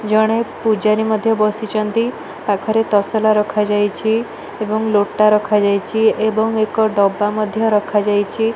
ଜଣେ ପୁଜାରୀ ମଧ୍ୟ ବସି ଛନ୍ତି ପାଖରେ ତସଲା ରଖା ଯାଇଛି ଏବଂ ଲୋଟା ରଖା ଯାଇଛି ଏବଂ ଏକ ଡବା ମଧ୍ୟ ରଖା ଯାଇଛି।